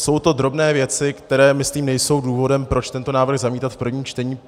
Jsou to drobné věci, které, myslím, nejsou důvodem, proč tento návrh zamítat v prvním čtení.